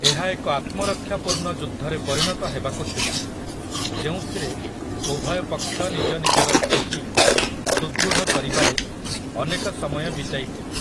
ଏହା ଏକ ଆତ୍ମରକ୍ଷାପୂର୍ଣ୍ଣ ଯୁଦ୍ଧରେ ପରିଣତ ହେବାକୁ ଥିଲା, ଯେଉଁଥିରେ ଉଭୟ ପକ୍ଷ ନିଜ ନିଜର ସ୍ଥିତି ସୁଦୃଢ଼ କରିବାରେ ଅନେକ ସମୟ ବିତାଇଥିଲେ ।